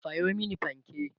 Sayo mani fanke!